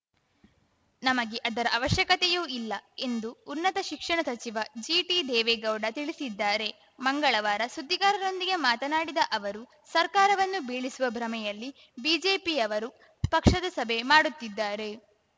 ನಮಗೆ ಅದರ ಅವಶ್ಯಕತೆಯೂ ಇಲ್ಲ ಎಂದು ಉನ್ನತ ಶಿಕ್ಷಣ ಸಚಿವ ಜಿಟಿದೇವೇಗೌಡ ತಿಳಿಸಿದ್ದಾರೆ ಮಂಗಳವಾರ ಸುದ್ದಿಗಾರರೊಂದಿಗೆ ಮಾತನಾಡಿದ ಅವರು ಸರ್ಕಾರವನ್ನು ಬೀಳಿಸುವ ಭ್ರಮೆಯಲ್ಲಿ ಬಿಜೆಪಿಯವರು ಪಕ್ಷದ ಸಭೆ ಮಾಡುತ್ತಿದ್ದಾರೆ